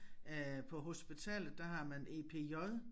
Øh på hospitalet der har man EPJ